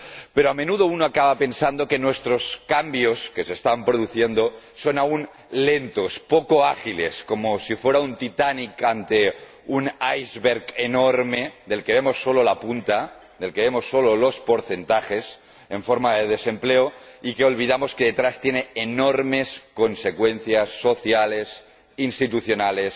Pero, a menudo, uno acaba pensando que nuestros cambios, que se están produciendo, son aún lentos, poco ágiles, como un Titanic ante un iceberg enorme del que vemos solo la punta, del que vemos solo los porcentajes en forma de desempleo, y nos olvidamos de que detrás hay enormes consecuencias sociales, institucionales,